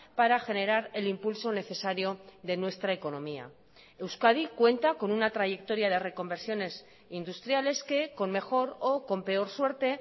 para generar el impulso necesario de nuestra economía euskadi cuenta con una trayectoria de reconversiones industriales que con mejor o con peor suerte